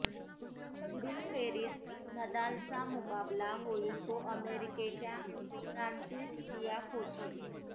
पुढील फेरीत नदालचा मुकाबला होईल तो अमेरिकेच्या फ्रान्सिस तियाफोशी